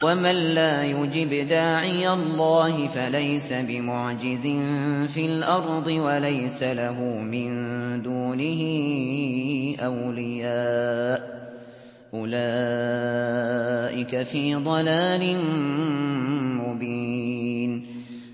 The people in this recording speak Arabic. وَمَن لَّا يُجِبْ دَاعِيَ اللَّهِ فَلَيْسَ بِمُعْجِزٍ فِي الْأَرْضِ وَلَيْسَ لَهُ مِن دُونِهِ أَوْلِيَاءُ ۚ أُولَٰئِكَ فِي ضَلَالٍ مُّبِينٍ